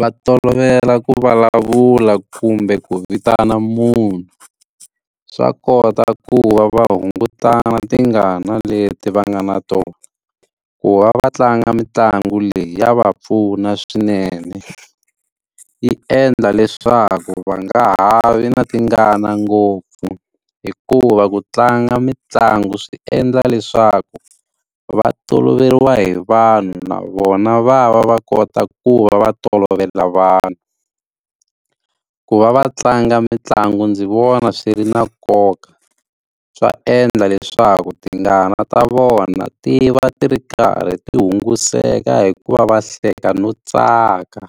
va tolovela ku vulavula kumbe ku vitana munhu, swa kota ku va va hungutana tingana leti va nga na tona. Ku va va tlanga mitlangu leyi ya va pfuna swinene, yi endla leswaku va nga ha vi na tingana ngopfu hikuva ku tlanga mitlangu swi endla leswaku va toloveriwa hi vanhu na vona va va va kota ku va va tolovela vanhu. Ku va va tlanga mitlangu ndzi vona swi ri na nkoka, swa endla leswaku tingana ta vona ti va ti ri karhi ti hunguteka hi ku va va hleka no tsaka.